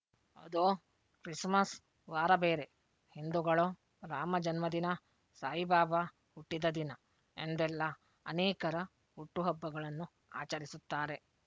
ಅದು ಕ್ರಿಸ್‍ಮಸ್ ವಾರ ಬೇರೆ ಹಿಂದೂಗಳು ರಾಮ ಜನ್ಮದಿನ ಸಾಯಿಬಾಬಾ ಹುಟ್ಟಿದ ದಿನ ಎಂದೆಲ್ಲಾ ಅನೇಕರ ಹುಟ್ಟು ಹಬ್ಬಗಳನ್ನು ಆಚರಿಸುತ್ತಾರೆ